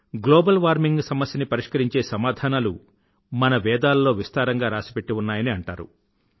global warming సమస్యని పరిష్కరించే సమాధానాలు మన వేదాల్లో విస్తారంగా రాసిపెట్టి ఉన్నాయని అంటారు